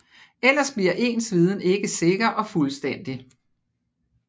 Ellers bliver ens viden ikke sikker og fuldstændig